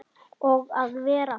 Og að vera